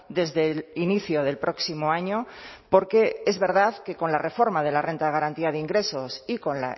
desde el inicio del próximo año porque es verdad que con la reforma de la renta de garantía de ingresos y con